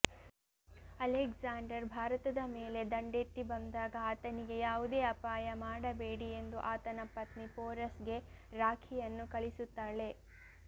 Alexander ಭಾರತದ ಮೇಲೆ ದಂಡೆತ್ತಿ ಬಂದಾಗ ಆತನಿಗೆ ಯಾವುದೇ ಅಪಾಯ ಮಾಡಬೇಡಿ ಎಂದು ಆತನ ಪತ್ನಿ ಪೋರಸ್ಗೆ ರಾಖಿಯನ್ನು ಕಳಿಸುತ್ತಾಳೆ